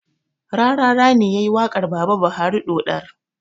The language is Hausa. Rarara ne yayi waƙar baba buhari ɗoɗar